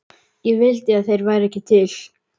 Ég vildi að þeir væru ekki til.